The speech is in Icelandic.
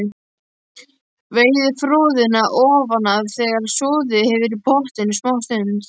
Veiðið froðuna ofan af þegar soðið hefur í pottinum smástund.